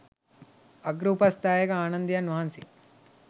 අග්‍ර උපස්ථායක ආනන්දයන් වහන්සේ